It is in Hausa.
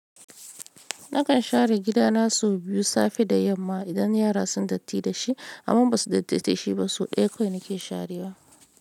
Nakan share gidana sau biyu safe da yamma idan yara sun datti da shi amma ba su dattata shi ba. So ɗaya kawai nake sharewa.